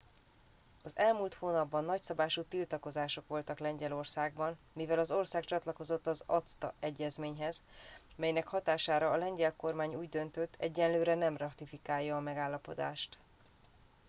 az elmúlt hónapban nagyszabású tiltakozások voltak lengyelországban mivel az ország csatlakozott az acta egyezményhez melynek hatására a lengyel kormány úgy döntött egyelőre nem ratifikálja a megállapodást